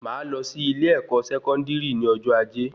Máa lọ sí ilé ẹkọ sẹkọndiri ní ọjọ ajé